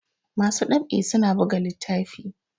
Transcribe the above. masu ɗab'i suna biga littafi